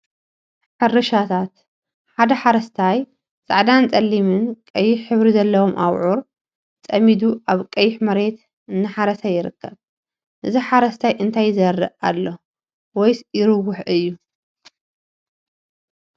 ሕርሻታት ሓደ ሓረስታይ ፃዕዳን ፀሊም፣ ቀይሕ ሕብሪ ዘለዎም አብዑር ፀሚዱ አብ ቀይሕ መሬት እናሓረሰ ይርከብ፡፡ እዚ ሓረስታይ እንታይ ይዘርእ አሎወይስ ይርውሕ እዩ?